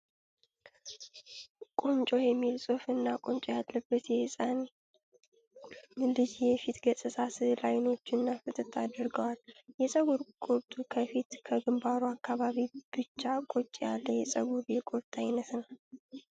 "ቁንጮ" የሚል ፅሁፍ እና ቆንጮ ያለበት የህፃን ልጅ የፊት ገፅታ ስዕል አይኖቹን ፍጥጥ አድርጓል። የፀጉር ቁርጡ ከፊት ከግንባሩ አካባቢ ብቻ ቁጭ ያለ የፀጉር የቁርጥ አይነት ነዉ።